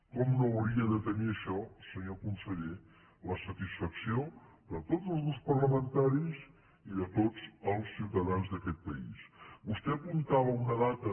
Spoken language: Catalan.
com no hauria de tenir això senyor conseller la satisfacció de tots els grups parlamentaris i de tots els ciutadans d’aquest país vostè apuntava una data